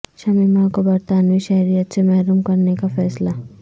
شمیمہ کو برطانوی شہریت سے محروم کرنے کا فیصلہ